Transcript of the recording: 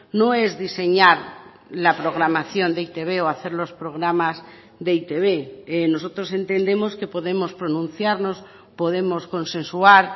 no es diseñar la programación de e i te be o hacer los programas de e i te be nosotros entendemos que podemos pronunciarnos podemos consensuar